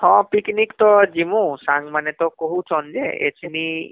ହଁ ପିକନିକ ତ ଜିମୂ, ସାଙ୍ଗମାନେ ତ କହୁଛନ ଯେ ଏଛିନି